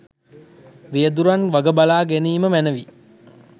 රියදුරන් වග බලා ගැනීම මැනවි